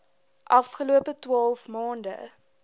afgelope twaalf maande